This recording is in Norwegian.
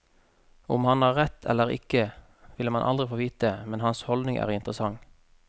Om han har rett eller ikke, vil man aldri få vite, men hans holdning er interessant.